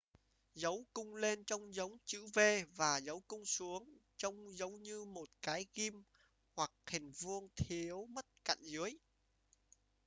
dấu cung lên trông giống chữ v và dấu cung xuống giống như một cái ghim hoặc hình vuông thiếu mất cạnh dưới